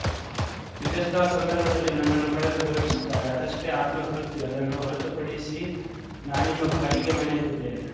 ವಿಜಯೋಸ್ತವ ಸಂದರ್ಭದಲ್ಲಿ ನನ್ನನ್ನು ಕರೆದು ಗೌರವಿಶುತ್ತಾರೆ ಅದಷ್ಟೇ ಆತ್ಮ ತೃಪ್ತಿ ಅದನ್ನು ಹೊರತುಪಡಿಶಿ ನಾನಿನ್ನೂ ಬಾಡಿಗೆ ಮನೆಲ್ಲಿದ್ದೇನೆ